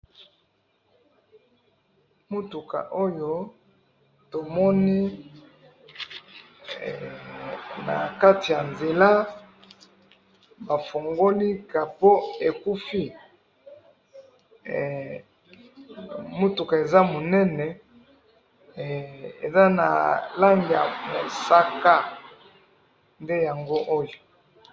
Mutuka oyo to moni, nakati ya nzela, ba fongoli capot ekufi, mutuka eza munene, eza na langi ya mosaka, nde yango oyo